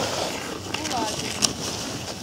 кулагину